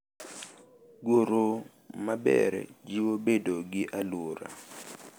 Goro maber jiwo bedo gi alwora